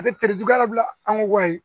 A tɛre juguya la bilen an ko wayi